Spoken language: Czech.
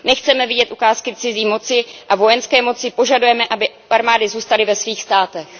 Nechceme vidět ukázky cizí moci a vojenské moci, požadujeme, aby armády zůstaly ve svých státech.